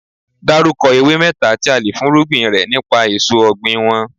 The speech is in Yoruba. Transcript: Dárúkọ ewé mẹ́ta tí a le fúnrúgbìn rẹ nípa èso ọ̀gbìn wọn.